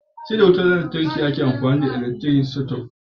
Sai da wutar lantarki ake amfani da elaktiri sitob.